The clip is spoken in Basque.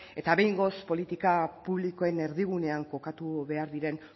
eta behingoz politika publikoen erdigunean kokatu behar diren